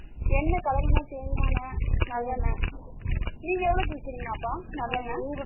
என்ன வழக்கமா தேங்க என்ன நல்லெண்ண நீங்க எவ்ளோவுக்கு இக்கிரிங்க அத்தா நல்லெண்ண